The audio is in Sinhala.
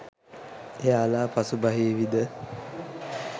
එයාලා පසු බහිවිද